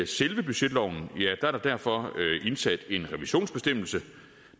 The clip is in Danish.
selve budgetloven er der derfor indsat en revisionsbestemmelse